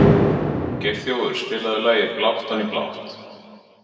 Geirþjófur, spilaðu lagið „Blátt oní blátt“.